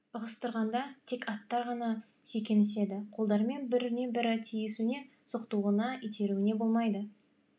ығыстырғанда тек аттар ғана сүйкеніседі қолдарымен біріне бірі тиісуіне соқтығуына итеруіне болмайды